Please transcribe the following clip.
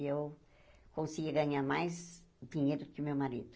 E eu conseguia ganhar mais dinheiro do que o meu marido.